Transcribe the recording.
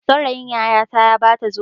Saurayin yayata ya ba ta zobe.